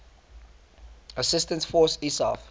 assistance force isaf